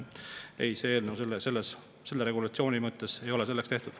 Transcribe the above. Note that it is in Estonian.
See eelnõu, see regulatsioon ei ole selleks tehtud.